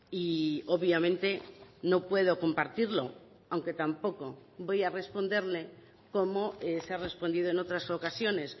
y obviamente no puedo compartirlo aunque tampoco voy a responderle como se ha respondido en otras ocasiones